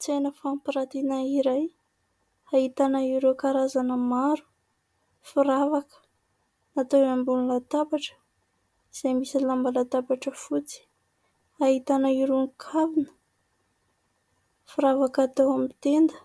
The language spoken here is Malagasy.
Tsena fampirantiana iray ahitana ireo karazana maro firavaka natao eo ambony latabatra izay misy lamba latabatra fotsy. Ahitana irony kavina, firavaka atao amin'ny tenda,